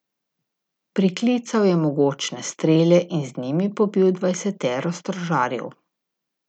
Priklical je mogočne strele in z njimi pobil dvajsetero stražarjev.